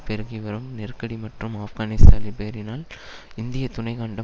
பெருகிவரும் நெருக்கடி மற்றும் ஆப்கானிஸ்தா லிபோரினால் இந்திய துணை கண்டம்